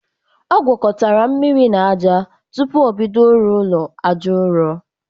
Ọ gwokotara mmiri na aja tupu o bido ịrụ ụlọ aja ụrọ